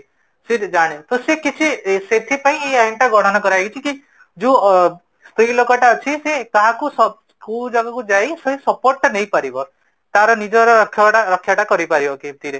ସେବି ଜଣେ ସେ କିଛି, ସେଠି ପାଇଁ ୟେ ଆଇନି ଟା ଗ୍ରହଣ କରା ଯାଇଛି କି ଯେ ସ୍ତ୍ରୀ ଲୋକଟା ଅଛି ସେ କାହାକୁ କୋଉ ଜାଗାକୁ ଯାଇ support ଟା ନେଇ ପାରିବ ତାର ନିଜର ରକ୍ଷାଟା କରିପାରିବ କେମିତିରେ